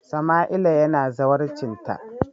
Samaila yana zawarcinta.